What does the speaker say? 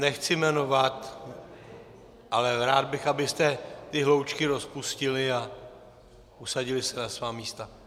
Nechci jmenovat, ale rád bych, abyste ty hloučky rozpustili a usadili se na svá místa.